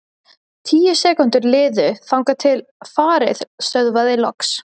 Tíu sekúndur liðu þangað til farið stöðvaðist loks.